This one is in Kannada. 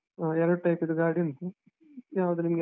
ಹಾ ಎರಡು type ಇದು ಗಾಡಿ ಉಂಟು, ಯಾವ್ದು ನಿಮ್ಗೆ.